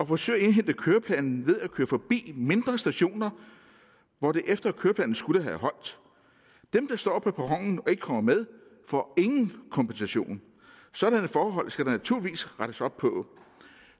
forsøger at indhente køreplanen ved at køre forbi mindre stationer hvor det efter køreplanen skulle have holdt dem der står på perronen og ikke kommer med får ingen kompensation sådanne forhold skal der naturligvis rettes op på